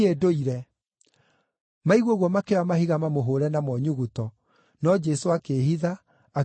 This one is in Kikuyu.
Maigua ũguo makĩoya mahiga mamũhũũre namo nyuguto, no Jesũ akĩĩhitha, akiuma kũu hekarũ-inĩ.